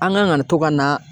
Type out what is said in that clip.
An kan ka to ka na